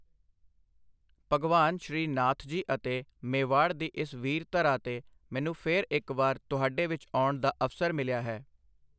ਭਗਵਾਨ ਸ਼੍ਰੀ ਨਾਥਜੀ ਅਤੇ ਮੇਵਾੜ ਦੀ ਇਸ ਵੀਰ ਧਰਾ ਤੇ ਮੈਨੂੰ ਫਿਰ ਇੱਕ ਵਾਰ ਤੁਹਾਡੇ ਵਿੱਚ ਆਉਣ ਦਾ ਅਵਸਰ ਮਿਲਿਆ ਹੈ।